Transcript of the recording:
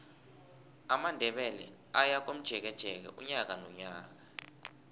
amandebele ayakomjekeje unyaka nonyaka